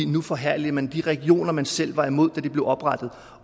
nu forherliger man de regioner man selv var imod da de blev oprettet